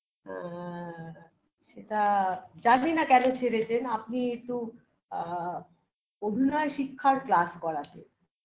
না